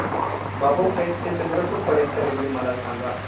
बाबूपेठ ते चंद्रपूर पर्यंत रेल्वे मला सांगा